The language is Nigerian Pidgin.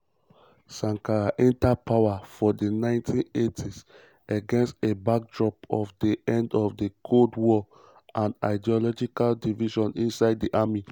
sankara um enta power for di 1980s against a backdrop of di end of di cold war and ideological divisions inside di army.